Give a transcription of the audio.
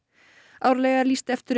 árlega er lýst eftir um